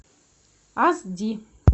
ас ди